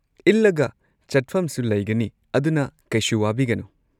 ꯏꯜꯂꯒ ꯆꯠꯐꯝꯁꯨ ꯂꯩꯒꯅꯤ, ꯑꯗꯨꯅ ꯀꯩꯁꯨ ꯋꯥꯕꯤꯒꯅꯨ꯫